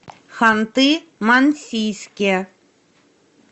ханты мансийске